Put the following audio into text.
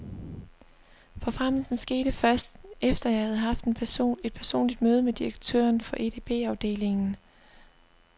Forfremmelsen skete først, efter jeg havde haft et personligt møde med direktøren for edbafdelingen.